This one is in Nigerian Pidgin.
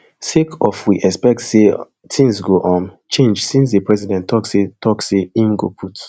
sake of we expect say tins go um change since di president tok say tok say im go put